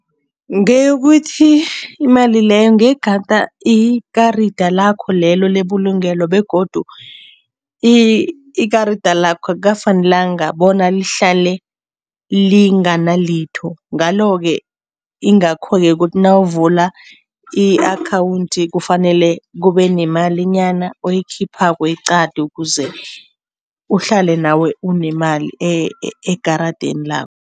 Ngeyokuthi, imali leyo ngegada ikarida lakho lelo lebulungelo begodu ikarida lakho akukafanelanga bona lihlale lingana litho. Ngalo-ke ingakho-ke kuthi nawuvula i-akhawundi, kufanele kube nemalinyana oyikhiphako eqade ukuze uhlale nawe unemali ekaradeni lakho.